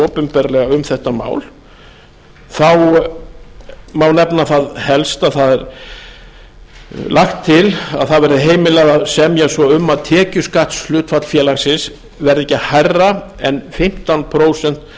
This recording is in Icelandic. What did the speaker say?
opinberlega um þetta mál þá má nefna það helsta að það er lagt til að að verði heimilað að semja svo um tekjuskattshlutfall félagsins verði ekki hærra en fimmtán prósent